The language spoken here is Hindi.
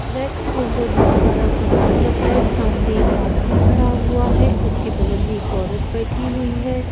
रैक के अंदर बहुत सारा सामान रखा है। सामने एक आदमी खड़ा हुआ है। उसके बगल में एक औरत बैठी हुई है।